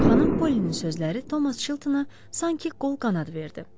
Xanım Polinin sözləri Tomas Çiltəna sanki qol qanad verdi.